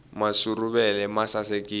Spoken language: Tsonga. masuruvele ma sasekisa